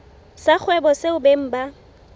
sa kgwebo seo beng ba